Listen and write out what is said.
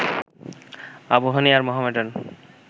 আবাহনী আর মোহামেডান